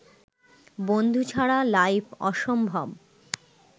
বন্ধু ছাড়া লাইফ অসম্ভব